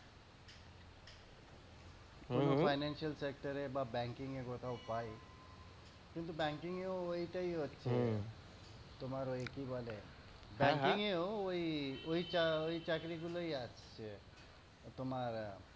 কোনও financial sector এ বা banking এ কোথাও পাই কিন্তু banking এ ও ওইটাই হচ্ছে তোমার ঐ কি বলে ঐ, ঐ টা ঐ চাকরি গুলোইআসছে তোমার